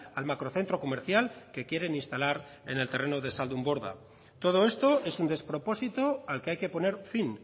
al macrocentro comercial que quieren instalar en el terreno de zaldunborda todo esto es un despropósito al que hay que poner fin